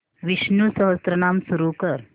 विष्णु सहस्त्रनाम सुरू कर